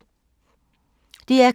DR K